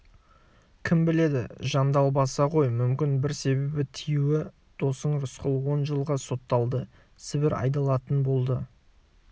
кім біледі жандалбаса ғой мүмкін бір себебі тиюі досың рысқұл он жылға сотталды сібір айдалатын болды